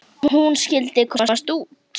Hún skyldi komast út!